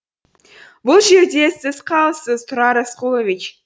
бұл жерде сіз қалыссыз тұрар рысқұлович